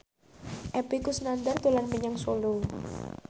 Epy Kusnandar dolan menyang Solo